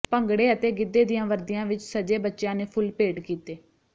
ਭੰਗੜੇ ਅਤੇ ਗਿੱਧੇ ਦੀਆਂ ਵਰਦੀਆਂ ਵਿਚ ਸਜੇ ਬੱਚਿਆਂ ਨੇ ਫੁੱਲ ਭੇਟ ਕੀਤੇ